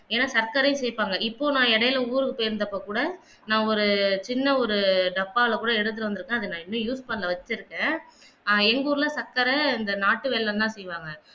ஏண்னா சர்க்கரையும் சேர்ப்பாங்க இப்போ நான் இடைல ஊருக்கு போய் இருந்தப்போ கூட நான் ஒரு சின்ன ஒரு டப்பால கூட எடுத்துட்டு வந்து இருக்கேன் நான் இன்னும் use பண்ணல வச்சிருக்கேன் எர் எங்க ஊர்ல சர்க்கரை இந்த நாட்டு வெல்லம் தான் செய்வாங்க